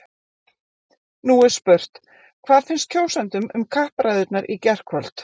Nú er spurt, hvað fannst kjósendum um kappræðurnar í gærkvöld?